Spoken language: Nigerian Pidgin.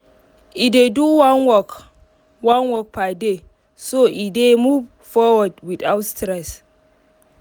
e dey do one work one work per day so e go dey move forward without stress